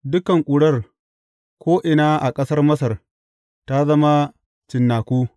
Dukan ƙurar, ko’ina a ƙasar Masar ta zama cinnaku.